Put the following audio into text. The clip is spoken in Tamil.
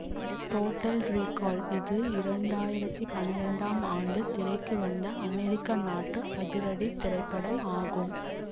டோட்டல் ரீகால் இது இரண்டாயிரத்தி பனிரெண்டாம் ஆண்டு திரைக்கு வந்த அமெரிக்க நாட்டு அதிரடி திரைப்படம் ஆகும்